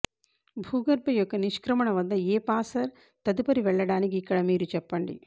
భూగర్భ యొక్క నిష్క్రమణ వద్ద ఏ పాసర్ తదుపరి వెళ్ళడానికి ఇక్కడ మీరు చెప్పండి